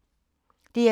DR2